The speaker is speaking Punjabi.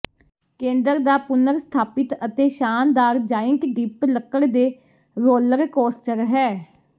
ਕੇਂਦਰ ਦਾ ਪੁਨਰਸਥਾਪਿਤ ਅਤੇ ਸ਼ਾਨਦਾਰ ਜਾਇੰਟ ਡਿੱਪ ਲੱਕੜ ਦੇ ਰੋਲਰ ਕੋਸਟਰ ਹੈ